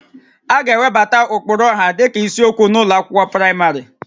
A ga-ewebata ụkpụrụ ọha dịka isiokwu n'ụlọ akwụkwọ praịmarị